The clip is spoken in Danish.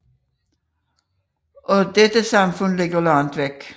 Og dette samfund ligger langt væk